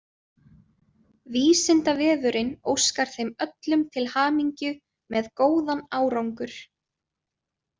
Vísindavefurinn óskar þeim öllum til hamingju með góðan árangur!